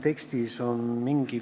Töötukassa käest me ei küsinud.